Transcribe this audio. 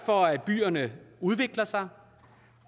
for at byerne udvikler sig